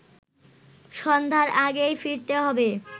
সন্ধ্যার আগেই ফিরতে হবে